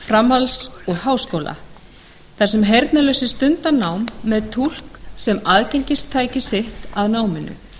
framhalds og háskóla þar sem heyrnarlausir stunda nám með túlk sem aðgengistæki sitt að náminu